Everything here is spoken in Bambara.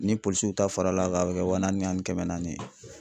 Ni polisiw ta fara l'a kan a bɛ kɛ wa naani ni kɛmɛ naani ye.